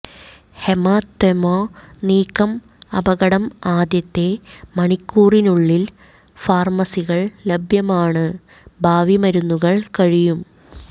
hematoma നീക്കം അപകടം ആദ്യത്തെ മണിക്കൂറിനുള്ളിൽ ൽ ഫാർമസികൾ ലഭ്യമാണ് ഭാവി മരുന്നുകൾ കഴിയും